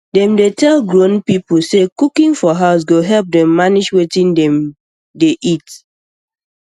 dem dey tell grown people say cooking for house go help dem manage wetin dem um dey eat